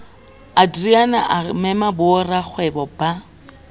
adriaan a mema borakgwebo ba